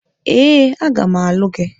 Ee, a ga m alụ gị.